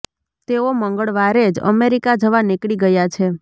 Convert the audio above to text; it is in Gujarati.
તેઓ મંગળવારે જ અમેરિકા જવા નીકળી ગયા છે